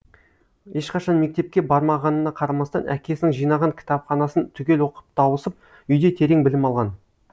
ешқашан мектепке бармағанына қарамастан әкесінің жинаған кітапханасын түгел оқып тауысып үйде терең білім алған